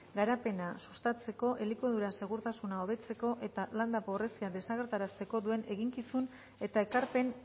garapena sustatzeko elikadura segurtasuna hobetzeko eta landa pobrezia desagerrarazteko duen eginkizun eta ekarpen